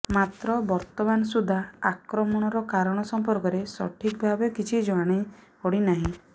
ମାତ୍ର ବର୍ତ୍ତମାନ ସୁଦ୍ଧା ଆକ୍ରମଣର କାରଣ ସମ୍ପର୍କରେ ସଠିକ ଭାବେ କିଛି ଜାଣିପଡ଼ି ନାହିଁ